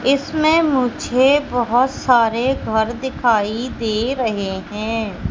इसमें मुझे बहोत सारे घर दिखाई दे रहे हैं।